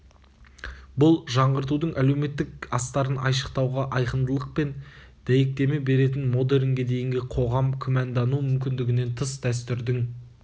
бұл жаңғыртуың әлеуметтік астарын айшықтауға айқындылық пен дәйектеме береді модернге дейінгі қоғам күмәндану мүмкіндігінен тыс дәстүрдің